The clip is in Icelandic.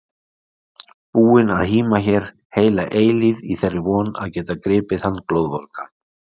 Búin að híma hér heila eilífð í þeirri von að geta gripið hann glóðvolgan!